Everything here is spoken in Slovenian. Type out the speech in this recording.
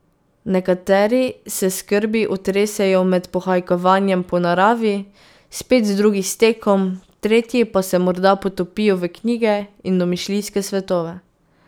Nekateri se skrbi otresejo med pohajkovanjem po naravi, spet drugi s tekom, tretji pa se morda potopijo v knjige in domišljijske svetove.